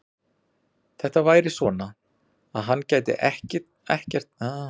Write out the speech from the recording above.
Þetta væri svona, að hann gæti ekkert talað við hana og kannski færi hún.